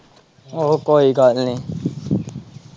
ਉਹ ਕੋਈ ਗੱਲ ਨਹੀਂ।